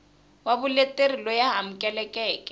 wa vuleteri loyi a amukelekeke